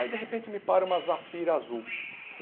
Aí, de repente, me para uma zafira azul.